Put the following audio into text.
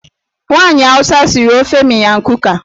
Nwaanyị Awụsa siri ofe miyan kuka.